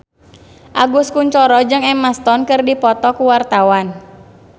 Agus Kuncoro jeung Emma Stone keur dipoto ku wartawan